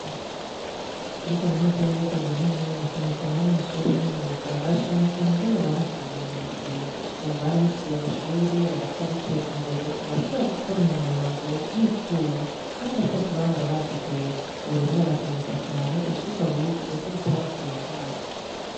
Kuri kaminuza y'ibiyaga binini na cane cane abo mw'ishure ry'imyunga barashima ingene baronse ubumenyi bukwiye, ubu barahejeje amashure bariko bariteza imbere barashobora gukora imyango y'icuma kandi ata vyo bari bazi kera, ubu rero barakeguruka cane ivyirwa bize ko bitabapfuyeho ubusa.